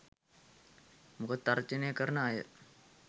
මොකද තර්ජනය කරණ අය